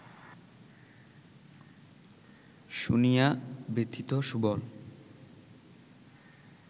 শুনিয়া, ব্যথিত সুবল